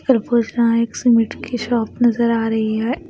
Shop नजर आ रही है।